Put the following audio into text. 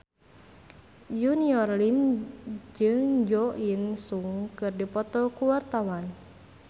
Junior Liem jeung Jo In Sung keur dipoto ku wartawan